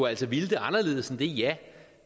altså ville det anderledes end det ja